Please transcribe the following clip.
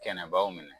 Kɛnɛbaw minɛ